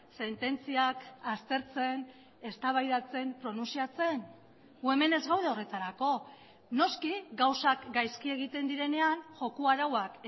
sententziak aztertzen eztabaidatzen pronuntziatzen gu hemen ez gaude horretarako noski gauzak gaizki egiten direnean joko arauak